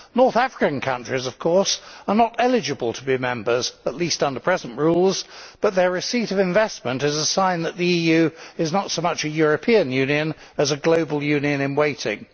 North African countries, of course, are not eligible to be members, at least under present rules, but their receipt of investment is a sign that the EU is not so much a European Union as a global union in waiting.